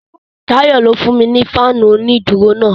Tayọ ló fún mi ni fáànù onídùúró náà.